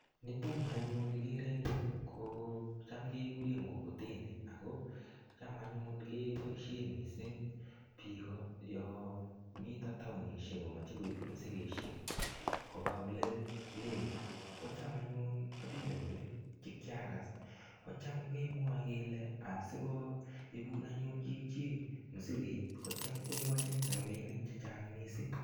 Nitok nianyun kigere eng yu kocham keguren mugogoteni ako cham annyun keboisien mising biik yo mito taonisiek komache koip mosigisiek kopa olelegit kocham anyun atindotin che kiagas kocham kemwoe kele asigo ibun anyun chichi mosiget kocham koyachin ropinik che chang mising.